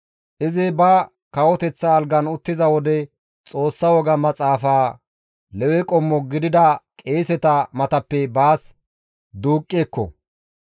Izi ba kawoteththa algan uttiza wode Xoossa woga maxaafa Lewe qommo gidida qeeseta matappe baas duuqqi ekko.